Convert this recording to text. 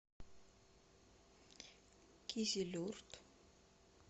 кизилюрт